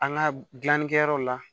An ka gilannikɛyɔrɔ la